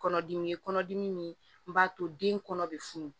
Kɔnɔdimi ye kɔnɔdimi min b'a to den kɔnɔ bɛ funu